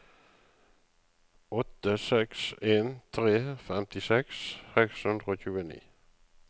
åtte seks en tre femtiseks seks hundre og tjueni